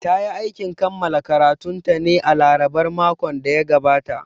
Ta yi aikin kammala karatunta ne a larabar makon da ya gabata